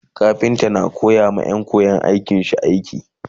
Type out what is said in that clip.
kafinta na koyawa Ƴan. koyan aikin shi aiki